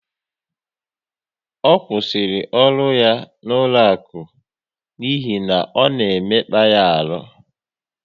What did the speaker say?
Ọ kwụsịrị ọrụ ya n'ụlọaku n'ihi ọ na emekpa ya ọrụ